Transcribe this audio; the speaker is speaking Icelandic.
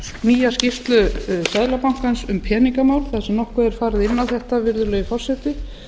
nýja skýrslu seðlabankans um peningamál þar sem nokkuð er farið inn á þetta virðulegi forseti